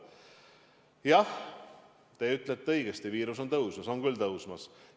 Jah, te ütlete õigesti, viiruse levik on kasvamas, on küll kasvamas.